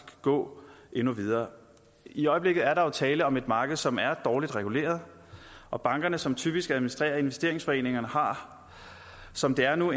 gå endnu videre i øjeblikket er der jo tale om et marked som er dårligt reguleret og bankerne som typisk administrerer investeringsforeningerne har som det er nu